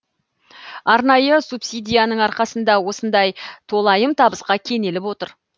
арнайы субсидияның арқасында осындай толайым табысқа кенеліп отыр